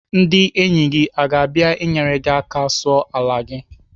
Ndị enyi gị aga abịa enyere gị aka sụọ ala gị?